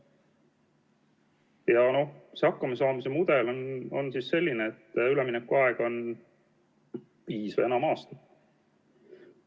Ja noh, see hakkamasaamise mudel on selline, et üleminekuaeg on viis või enam aastat.